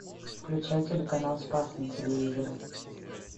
включай телеканал спас на телевизоре